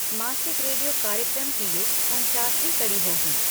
मासिक रेडियो कार्यक्रम की ये उनचासवीं कड़ी होगी।